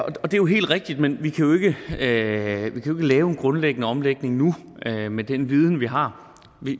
jo helt rigtigt men vi kan ikke lave en grundlæggende omlægning nu med den viden vi har